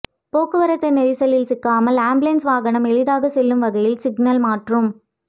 போக்குவரத்து நெரிசலில் சிக்காமல் ஆம்புலன்ஸ் வாகனம் எளிதாக செல்லும் வகையில் சிக்னல் மாற்றும்